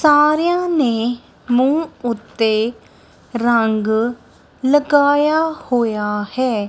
ਸਾਰੇਆ ਨੇ ਮੁੱਹ ਉਤੇ ਰਂਗ ਲਗਾਯਾ ਹੋਆ ਹੈ।